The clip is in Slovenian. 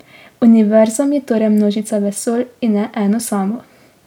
Univerzum je torej množica vesolj, in ne eno samo.